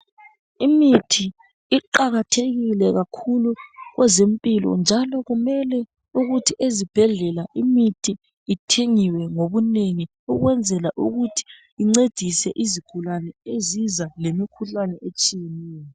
imithi iqakathekile kakhulu kwezempilo njalo kumele ukuthi ezibhedlela imithi ithengwe ngobunengi ukwenzela ukuthi incedise izigulane eziza lemikhuhlane etshiyeneyo